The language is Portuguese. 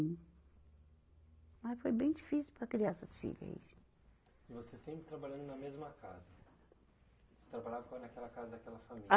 Mas foi bem difícil para criar essas filha aí. E você sempre trabalhando na mesma casa, você trabalhava com ela naquela casa daquela família. A